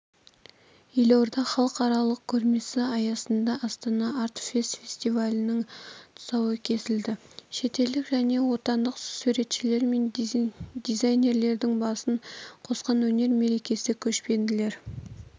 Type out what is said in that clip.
елордада халықаралық көрмесі аясында астана арт фест фестивалінің тұсауы кесілді шетелдік және отандық суретшілер мен дизейнерлердің басын қосқан өнер мерекесі көшпенділер